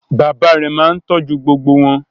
Bàbá rẹ̀ máa ń tọ́jú gbogbo wọn.